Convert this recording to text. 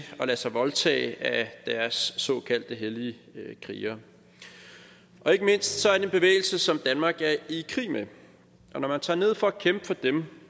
at lade sig voldtage af deres såkaldte hellige krigere og ikke mindst er det en bevægelse som danmark er i krig med og når man tager ned for at kæmpe for dem